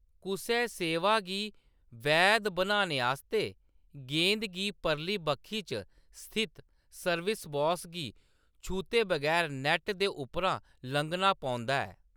कुसै सेवा गी वैध बनाने आस्तै गेंद गी परली बक्खी च स्थित सर्विस बॉक्स गी छूह्‌‌‌ते बगैर नैट्ट दे उप्परा लंघना पौंदा ऐ।